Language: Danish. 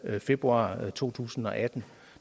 februar to tusind og atten